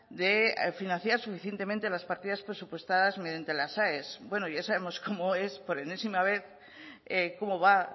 de financiar suficientemente las partidas presupuestadas mediante las aes bueno ya sabemos cómo es por enésima vez cómo va